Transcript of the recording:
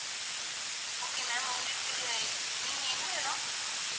okay ma'am உங்களுக்கு நீங்க எந்த இடம்?